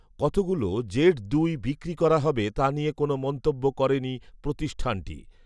কতগুলো জেড দুই বিক্রি করা হবে তা নিয়ে কোনো মন্তব্য করেনি প্রতিষ্ঠানটি